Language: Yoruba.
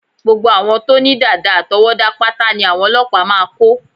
Gbogbo àwọn tó ní dàdà àtọwọ́dá pátá ní àwọn ọlọ́pàá máa kó